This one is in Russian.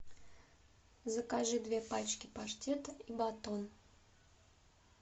закажи две пачки паштета и батон